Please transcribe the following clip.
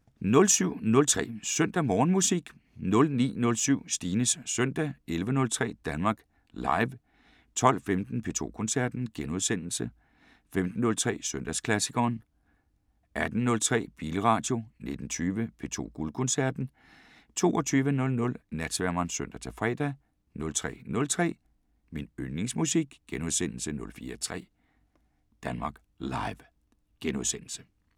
07:03: Søndag Morgenmusik 09:07: Stines søndag 11:03: Danmark Live 12:15: P2 Koncerten * 15:03: Søndagsklassikeren 18:03: Bilradio 19:20: P2 Guldkoncerten 22:00: Natsværmeren (søn-fre) 03:03: Min yndlingsmusik * 04:03: Danmark Live *